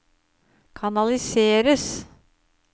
kanaliseres